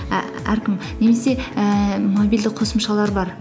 немесе ііі мобильді қосымшалар бар